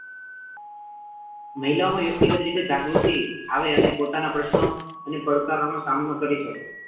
મહિલોઆ માં વ્યક્તિગત રીતે જાગૃતિ આવે અને પોતાના પ્રશ્નો અને પડકારોનો સામનો કરી શકે.